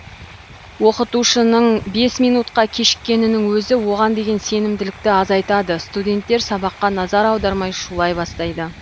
оқытушының бес минутқа кешікенінің өзі оған деген сенімділікті азайтады студенттер сабаққа назар аудармай шулай бастайды